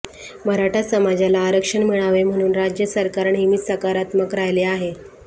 मराठा समाजाला आरक्षण मिळावे म्हणून राज्य सरकार नेहमीच सकारात्मक राहिले आहे